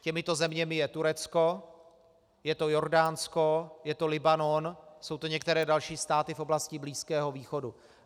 Těmito zeměmi je Turecko, je to Jordánsko, je to Libanon, jsou to některé další státy v oblasti Blízkého východu.